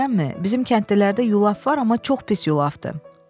Bizim kəndlilərdə yulaf var, amma çox pis yulafdır.